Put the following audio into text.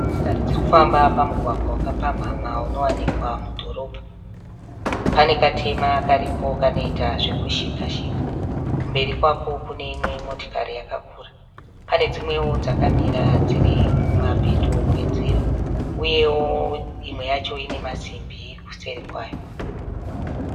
Motokari dziri kufamba pamugagwa wakapamhama unowanikwa mudhorobha. Pane katema karipo kanoita zvekushikashika. Kumberi kwako kune imwe motokari yakakura. Pane dzimwewo dzakamira dziri kumapeto kwenzira uyewo imwe yacho ine masimbi kuseri kwayo.